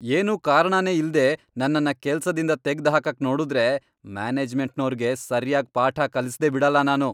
ಏನೂ ಕಾರಣನೇ ಇಲ್ದೇ ನನ್ನನ್ನ ಕೆಲ್ಸದಿಂದ ತೆಗ್ದ್ಹಾಕಕ್ ನೋಡುದ್ರೆ ಮ್ಯಾನೇಜ್ಮೆಂಟ್ನೋರ್ಗೆ ಸರ್ಯಾಗ್ ಪಾಠ ಕಲಿಸ್ದೇ ಬಿಡಲ್ಲ ನಾನು.